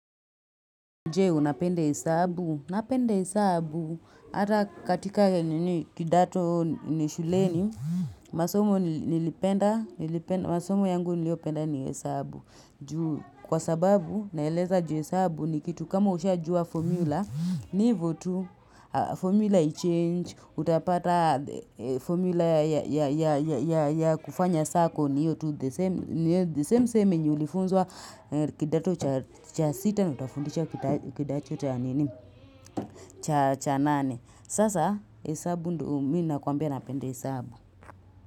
Je, unapenda hesabu, napenda hesabu, hata katika kidato ni shuleni, masomo nilipenda, masomo yangu niliyopenda ni hesabu. Kwa sababu, naeleza ju hesabu ni kitu kama ushajua formula, ni hivo tu, formula haichange, utapata formula ya kufanya sako ni hiyo tu, kidato cha sita na utafundisha kidato cha nane. Sasa, hesabu ndio mi nakwambia napenda hesabu.